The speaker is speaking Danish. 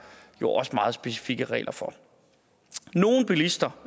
jo også meget specifikke regler for nogle bilister